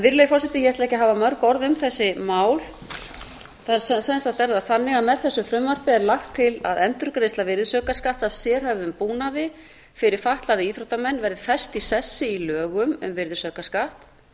virðulegi forseti ég ætla ekki að hafa mörg orð um þessi mál sem sagt er það þannig að með þessu frumvarpi er lagt til að endurgreiðsla virðisaukaskatts af sérhæfðum búnaði fyrir fatlaða íþróttamenn verði fest í sessi í lögum um virðisaukaskatt